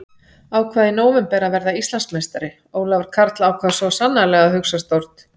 Ákvað í nóvember að verða Íslandsmeistari Ólafur Karl ákvað svo sannarlega að hugsa stórt.